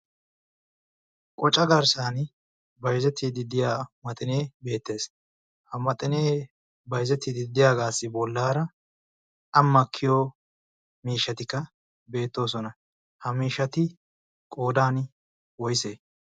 qoca garssan baizetii diddiya maxinee beettees ha maxinee baizeti diddiyaagaassi bollaara a makkiyo miishshatikka beettoosona ha miishati qoodan woise?